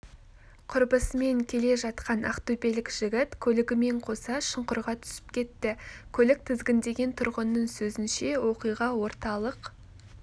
құрбысымен келе жатқан ақтөбелік жігіт көлігімен қоса шұңқырға түсіп кетті көлік тізгіндеген тұрғынның сөзінше оқиға орталық